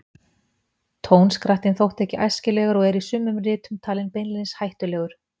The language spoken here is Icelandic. Tónskrattinn þótti ekki æskilegur og er í sumum ritum talinn beinlínis hættulegur.